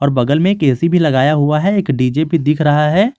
और बगल में एक ए_सी भी लगाया हुआ है एक डी_जे भी दिख रहा है।